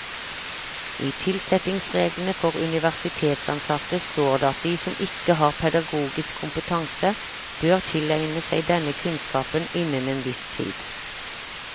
I tilsettingsreglene for universitetsansatte står det at de som ikke har pedagogisk kompetanse, bør tilegne seg denne kunnskapen innen en viss tid.